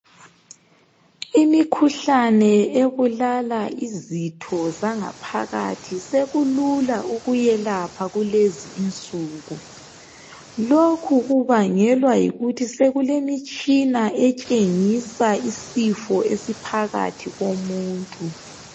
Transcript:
Imikhuhlane ebulala izitho zangaphakathi sekulula ukuyelapha kulezi insuku lokhu kubangelwa yikuthi sekulemitshina etshengisa isifo esiphakathi komuntu.